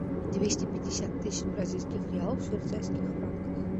двести пятьдесят тысяч бразильских реалов в швейцарских франках